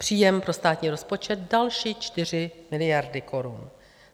Příjem pro státní rozpočet - další 4 miliardy korun.